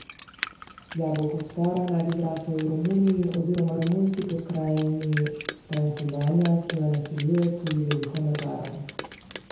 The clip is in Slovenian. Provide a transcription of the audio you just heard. Jabolko spora naj bi zraslo v Romuniji oziroma romunski pokrajini Transilvanija, ki jo naseljuje tudi veliko Madžarov.